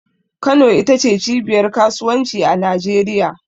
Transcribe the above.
Kano ita ce cibiyar Kasuwanci a Najeriya.